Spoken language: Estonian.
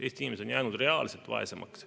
Eesti inimesed on jäänud reaalselt vaesemaks.